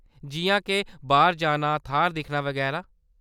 जिʼयां के, बाह्‌‌र जाना, थाह्‌‌‌र दिक्खना, बगैरा।